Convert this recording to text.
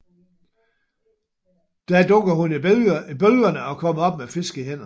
Da dukker hun i bølgerne og kommer op med fisk i hænderne